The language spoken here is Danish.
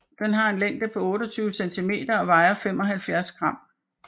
Den har en længde på 28 cm og vejer 75 gram